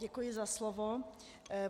Děkuji za slovo.